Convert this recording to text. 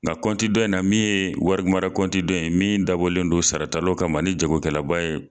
Nka coti dɔ in na min ye warimara coti dɔ ye min dabɔlen don sarataw kama ani jagokɛlaba ye